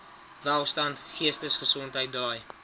welstand geestesgesondheid draai